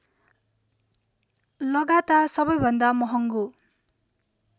लगातार सबैभन्दा महगो